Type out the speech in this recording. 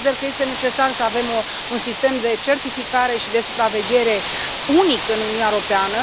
Consider că este necesar să avem un sistem de certificare și de supraveghere unic în Uniunea Europeană.